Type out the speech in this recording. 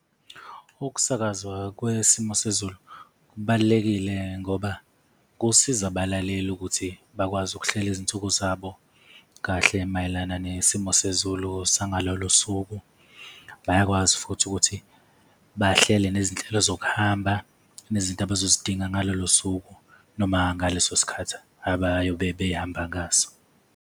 Ukusakazwa kwesimo sezulu kubalulekile ngoba kusiza abalaleli ukuthi bakwazi ukuhlela izinsuku zabo kahle mayelana nesimo sezulu sangalolo suku, bayakwazi futhi ukuthi bahlele nezinhlelo zokuhamba nezinto abazoyidinga ngalolo suku, noma ngaleso sikhathi abayobe behamba ngaso.